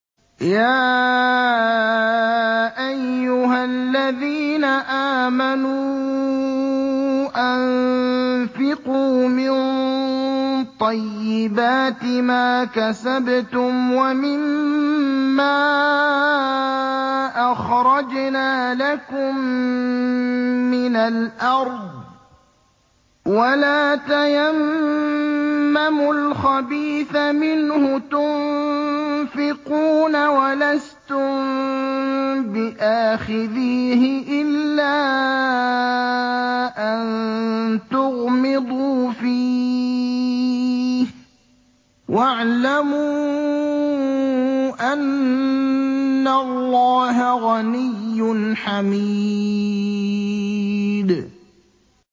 يَا أَيُّهَا الَّذِينَ آمَنُوا أَنفِقُوا مِن طَيِّبَاتِ مَا كَسَبْتُمْ وَمِمَّا أَخْرَجْنَا لَكُم مِّنَ الْأَرْضِ ۖ وَلَا تَيَمَّمُوا الْخَبِيثَ مِنْهُ تُنفِقُونَ وَلَسْتُم بِآخِذِيهِ إِلَّا أَن تُغْمِضُوا فِيهِ ۚ وَاعْلَمُوا أَنَّ اللَّهَ غَنِيٌّ حَمِيدٌ